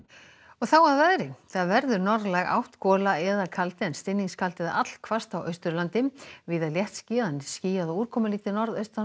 þá að veðri það verður norðlæg átt gola eða kaldi en stinningskaldi eða allhvasst á Austurlandi víða léttskýjað en skýjað og úrkomulítið norðaustan